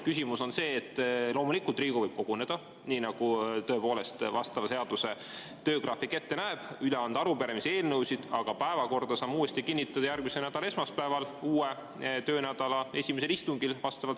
Nii et loomulikult võib Riigikogu koguneda, nii nagu seaduses töö ajagraafik ette näeb, saab üle anda arupärimisi ja eelnõusid, aga päevakorra saame vastavalt seadusele kinnitada järgmise nädala esmaspäeval, uue töönädala esimesel istungil.